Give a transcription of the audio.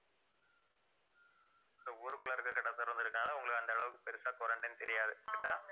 இந்த ஊருக்குள்ள இருக்க கடை திறந்திருக்கறனால உங்களுக்கு அந்த அளவுக்கு பெருசா quarantine ன்னு தெரியாது correct ஆ